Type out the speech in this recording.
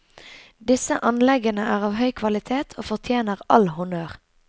Disse anleggene er av høy kvalitet og fortjener all honnør.